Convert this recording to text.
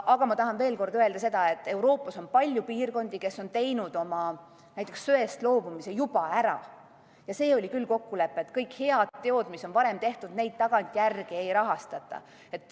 Aga ma tahan veel kord öelda seda, et Euroopas on palju piirkondi, kes on näiteks söest juba loobunud, ja see oli küll kokkulepe, et kõiki häid tegusid, mis on varem tehtud, tagantjärele ei rahastata.